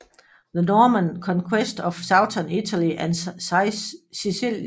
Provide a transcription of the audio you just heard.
The Norman Conquest of Southern Italy and Sicily